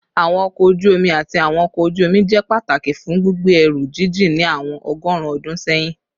Awọn ọkọ oju omi ati awọn ọkọ oju-omi jẹ pataki fun gbigbe ẹru jijin ni awọn ọgọrun ọdun sẹyin